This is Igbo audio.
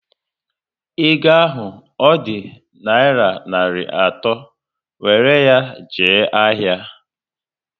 Ego ahụ ọ dị naira narị atọ, wéré ya jee ahịa!